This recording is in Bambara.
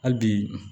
Hali bi